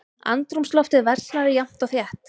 Andrúmsloftið versnaði jafnt og þétt.